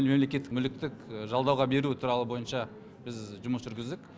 мемлекеттік мүліктік жалдауға беру туралы бойынша біз жұмыс жүргіздік